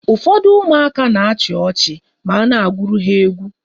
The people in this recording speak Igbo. Ụfọdụ ụmụaka na-achị ọchị ma a na-agụrụ ha egwu.